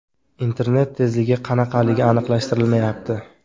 Internet tezligi qanaqaligi aniqlashtirilmayapti.